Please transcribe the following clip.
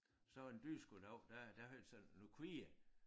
Så en dyrskue en dag der der havde han sådan nogle kvier